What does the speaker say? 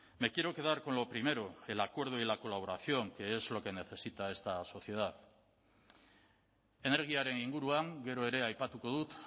me quiero quedar con lo primero el acuerdo y la colaboración que es lo que necesita esta sociedad energiaren inguruan gero ere aipatuko dut